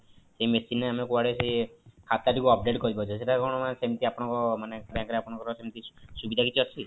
ସେଇ machine ରେ ଆମେ କୁଆଡେ ସେ ଖାତା ଟି କୁ update କରିପାରିବା ସେଇଟା କଣ ମାନେ ସେମିତି ଆପଣଙ୍କ ମାନେ bank ରେ ଆପଣଙ୍କର ସେମିତି କିଛି ସୁବିଧା ଅଛି?